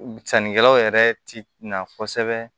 Sannikɛlaw yɛrɛ ti na kosɛbɛ